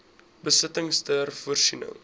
besittings ter voorsiening